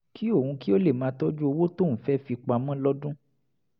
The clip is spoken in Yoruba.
kí òun lè máa tọ́jú owó tóun fẹ́ fi pamọ́ lọ́dún